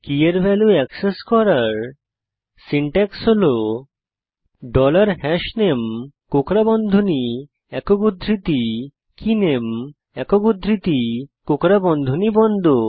কী এর value access করার syntax হল ডলার হাশনামে কোঁকড়া বন্ধনী একক উদ্ধৃতি কেনামে একক উদ্ধৃতি কোঁকড়া বন্ধনী বন্ধ